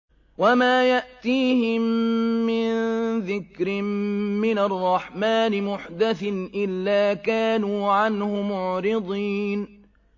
وَمَا يَأْتِيهِم مِّن ذِكْرٍ مِّنَ الرَّحْمَٰنِ مُحْدَثٍ إِلَّا كَانُوا عَنْهُ مُعْرِضِينَ